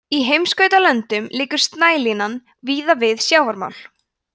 í heimskautalöndum liggur snælína víða við sjávarmál